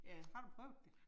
Har du prøvet det?